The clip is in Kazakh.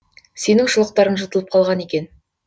сенің шұлықтарың жыртылып қалған екен